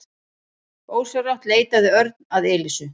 Ósjálfrátt leitaði Örn að Elísu.